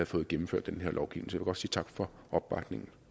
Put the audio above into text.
får gennemført den her lovgivning så godt sige tak for opbakningen